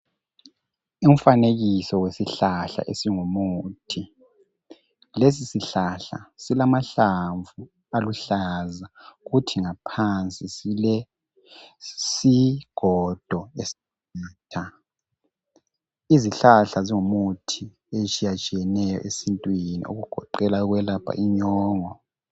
Umfanekiso wesihlahla esingumuthi. Lesi sihlahla silamahlamvu aluhlaza kuthi ngaphansi silesigodo esiqatha. Izihlahla zingu muthi etshiyatshiyeneyo esintwini okugoqela ukwelapha inyongo